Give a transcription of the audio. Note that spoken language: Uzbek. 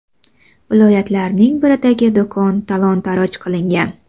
Viloyatlarning biridagi do‘kon talon-taroj qilingan.